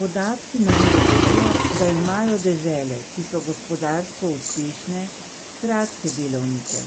Podatki nam govorijo, da imajo dežele, ki so gospodarsko uspešne, kratke delovnike,